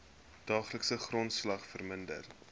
daaglikse grondslag verminder